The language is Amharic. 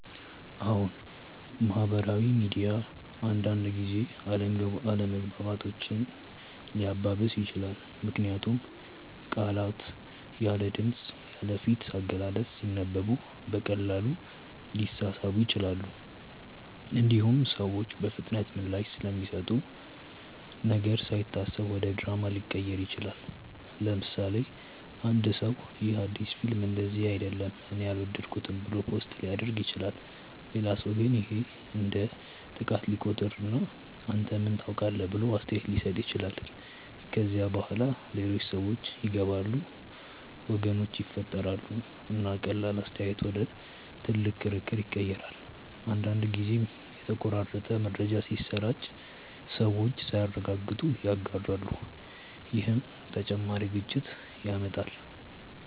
አዎን፣ ማህበራዊ ሚዲያ አንዳንድ ጊዜ አለመግባባቶችን ሊያባብስ ይችላል። ምክንያቱም ቃላት ያለ ድምፅ፣ ያለ ፊት አገላለጽ ሲነበቡ በቀላሉ ሊሳሳቡ ይችላሉ። እንዲሁም ሰዎች በፍጥነት ምላሽ ስለሚሰጡ ነገር ሳይታሰብ ወደ ድራማ ሊቀየር ይችላል። ለምሳሌ፣ አንድ ሰው “ይህ አዲስ ፊልም እንደዚህ አይደለም እኔ አልወደድኩትም” ብሎ ፖስት ሊያደርግ ይችላል። ሌላ ሰው ግን ይህን እንደ ጥቃት ሊቆጥር እና “አንተ ምን ታውቃለህ?” ብሎ አስተያየት ሊሰጥ ይችላል። ከዚያ በኋላ ሌሎች ሰዎች ይገባሉ፣ ወገኖች ይፈጠራሉ፣ እና ቀላል አስተያየት ወደ ትልቅ ክርክር ይቀየራል። አንዳንድ ጊዜም የተቆራረጠ መረጃ ሲሰራጭ ሰዎች ሳያረጋግጡ ይጋራሉ፣ ይህም ተጨማሪ ግጭት ያመጣል።